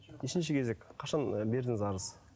нешінші кезек қашан ы бердіңіз арыз